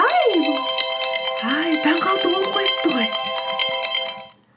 әй таңғы алты болып қойыпты ғой